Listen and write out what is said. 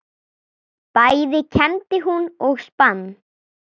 Bæði kembdi hún og spann.